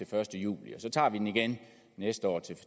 første juli og så tager vi den igen næste år